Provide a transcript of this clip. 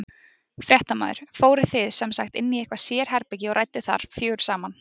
Fréttamaður: Fóruð þið sem sagt inn í eitthvað sérherbergi og rædduð þar fjögur saman?